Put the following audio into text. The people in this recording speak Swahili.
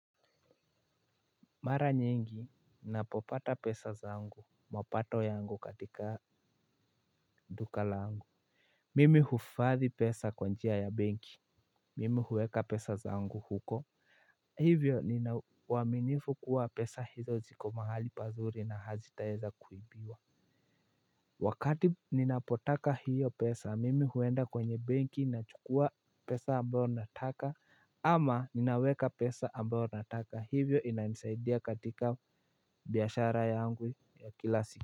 Mara nyingi ninapopata pesa zangu mapato yangu katika duka langu. Mimi huifadhi pesa kwa njia ya benki. Mimi huweka pesa zangu huko. Hivyo ninauaminifu kuwa pesa hizo ziko mahali pazuri na hazitaeza kuibiwa. Wakati ninapotaka hiyo pesa mimi huenda kwenye benki nachukua pesa ambayo nataka ama ninaweka pesa ambayo nataka hivyo inanisaidia katika biashara yangu ya kila siku.